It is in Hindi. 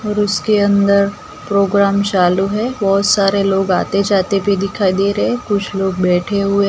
और उसके अंदर प्रोग्राम चालू है। बहुत सारे लोग आते जाते भी दिखाई दे रहे हैं। कुछ लोग बैठे हुए--